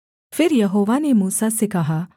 फिर यहोवा ने मूसा से कहा